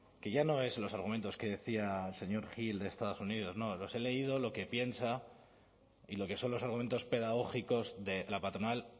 que ya no es los argumentos que decía el señor gil de estados unidos no los he leído lo que piensa y lo que son los argumentos pedagógicos de la patronal